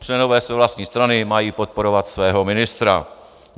Členové své vlastní strany mají podporovat svého ministra.